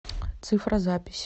цифра запись